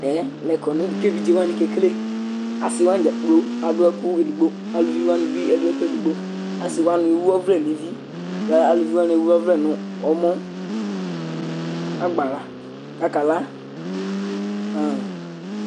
Tɛ lɛ kɔnʋ kʋ evidze wanɩ kekele Asɩ wanɩ dza kplo adʋ ɛkʋ edigbo Aluvi wanɩ bɩ adʋ ɛkʋ edigbo Asɩ wanɩ ewu ɔvlɛ nʋ evi kʋ aluvi wanɩ ewu ɔvlɛ nʋ ɔmɔ agbala kʋ akala han